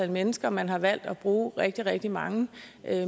mennesker man har valgt at bruge rigtig rigtig mange